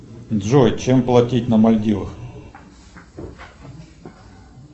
джой чем платить на мальдивах